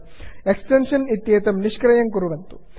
extension इत्येतं निष्क्रियं कुर्वन्तु